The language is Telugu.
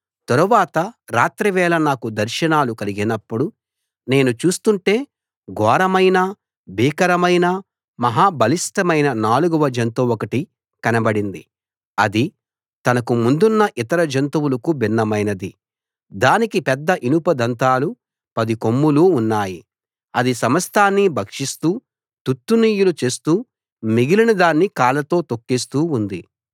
తరువాత రాత్రి వేళ నాకు దర్శనాలు కలిగినప్పుడు నేను చూస్తుంటే ఘోరమైన భీకరమైన మహా బలిష్ఠమైన నాలుగవ జంతువొకటి కనబడింది అది తనకు ముందున్న ఇతర జంతువులకు భిన్నమైనది దానికి పెద్ద ఇనుప దంతాలు పది కొమ్ములు ఉన్నాయి అది సమస్తాన్నీ భక్షిస్తూ తుత్తునియలు చేస్తూ మిగిలిన దాన్ని కాళ్లతో తొక్కేస్తూ ఉంది